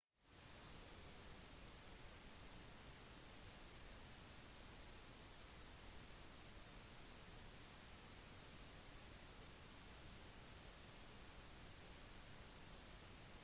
mange av deres forfattere har fortsatt å ha stor innflytelse på nyhetsparodi-programmene til jon stewart og stephen colberts